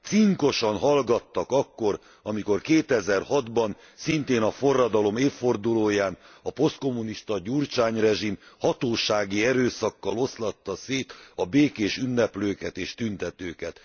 cinkosan hallgattak akkor, amikor 2006 ban, szintén a forradalom évfordulóján a posztkommunista Gyurcsány rezsim hatósági erőszakkal oszlatta szét a békés ünneplőket és tüntetőket.